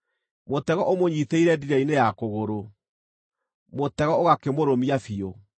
Mũtego ũmũnyiitĩire ndiira-inĩ ya kũgũrũ; mũtego ũgakĩmũrũmia biũ.